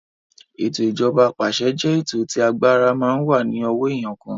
Ètò ìjọba apàṣẹ jẹ́ ètò tí agbára máa ń wà ní ọwọ́ èèyàn kan